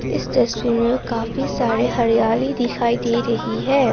इस तस्वीर में काफी सारे हरियाली दिखाई दे रही है।